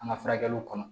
An ka furakɛliw kɔnɔ